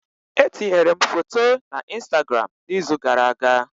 Etinyere m foto na Instagram n'izu gara aga